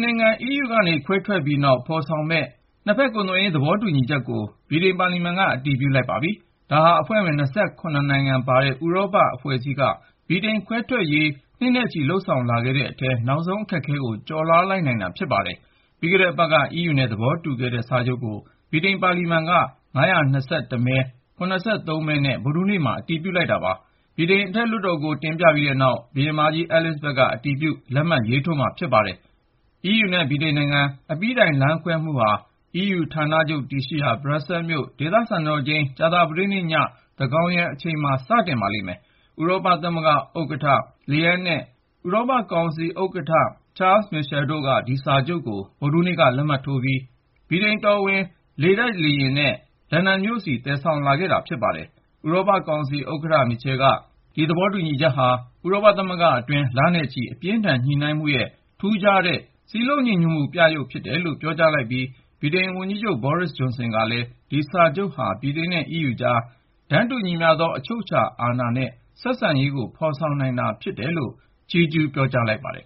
နိုင်ငံ EU ကခွဲထွက်ပြီးနောက် ဖော်ဆောင်မယ့် ၂ ဖက် ကုန်သွယ်ရေး သဘောတူညီချက်ကို ဗြိတိန်ပါလီမန်က အတည်ပြုလိုက်ပါပြီ။ ဒါဟာ အဖွဲ့ဝင် ၂၇ နိုင်ပါဝင်တဲ့ ဥရောပအဖွဲ့အစည်းက ဗြိတိန်ခွဲထွက်ရေး နှစ်နဲ့ချီလုပ်ဆောင်လာခဲ့တဲ့အထဲ နောက်ဆုံးအခက်အခဲကို ကျော်လွှားနိုင်လိုက်တာ ဖြစ်ပါတယ်။ ပြီးခဲ့တဲ့အပတ်က EU နဲ့သဘောတူညီခဲ့တဲ့ ဒီစာချုပ်ကို ဗြိတိန်ပါလီမန်က ၅၂၁ မဲ ၇၃ မဲ နဲ့ ဗုဒ္ဓဟူးနေ့မှာ အတည်ပြုလိုက်တာပါ။ ဗြိတိန်အထက်လွှတ်တော်ကိုတင်ပြပြီးတဲ့ ဘုရင်မကြီး အဲလစ်ဇဘတ် က အတည်ပြုလက်မှတ်ရေးထိုးမှာဖြစ်ပါတယ်။ EU နဲ့ ဗြိတိန်နိုင်ငံ အပြီးတိုင်လမ်းခွဲမှုဟာ EU ဌာနချုပ်တည်ရှိရာ Brussels မြို့ဒေသစံတော်ချိန် ကြာသပတေးည သန်းခေါင်ယံအချိန်မှာ စတင်ပါလိမ့်မယ်။ ဥရောပသမဂ္ဂဥက္ကဌ Ursula von der Leyen နဲ့ ဥရောပကောင်စီဥက္ကဌ Charles Michel တို့က ဒီစာချုပ်ကို ဗုဒ္ဓဟူးနေ့က လက်မှတ်ရေးထိုးပြီး ဗြိတိန်တော်ဝင်လေတပ်မတော်လေယာဉ်နဲ့ လန်ဒန်မြို့ဆီ သယ်ဆောင်လာခဲပတာဖြစ်ပါတယ်။ ဥရောပကောင်စီဥက္ကဌ Michel က “ ဒီသဘောတူညီချက်ဟာ ဥရောကသမဂ္ဂ အတွင်း လနဲ့ချီ အပြင်းအထန်ညှိနှိုင်းမှုရဲ့ ထူးခြားသောစည်းလုံးညီညွတ်မှုပြယုဂ် ဖြစ်တယ်”လို့ပြောကြားလိုက်ပြီး ဗြိတိန် ဝန်ကြီးချုပ် Boris Jhonson ကလည်း “ ဒီစာချုပ်ဟာ ဗြိတိန် နဲ့ EU ကြား တန်းတူညီမျှသော အချုပ်အချာအာဏာ နဲ့ ဆက်ဆံရေးကို ဖော်ဆောင်နိုင်တာဖြစ်တယ်” လို့ အခုလိုချီးကျူးလိုက်ပါတယ်